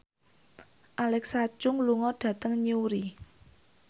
Alexa Chung lunga dhateng Newry